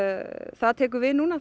það tekur við núna